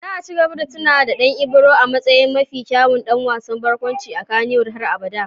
Za a ci gaba da tuna da Dan Ibro a matsayin mafi kyawun dan wasan barkwanci a Kannywood har abada.